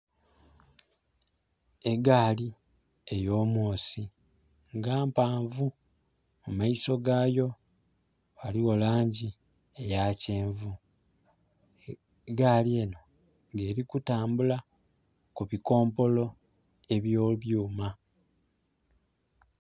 Egaali ey'omwosi nga mpaavu mu maiso gaayo ghaliyo langi eya kyenvu egaali enho nga eri kutambula ku bikompolo ebye byuma.